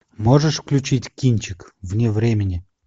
можешь включить кинчик вне времени